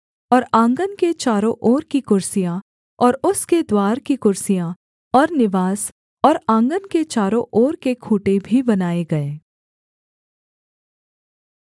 और आँगन के चारों ओर की कुर्सियाँ और उसके द्वार की कुर्सियाँ और निवास और आँगन के चारों ओर के खूँटे भी बनाए गए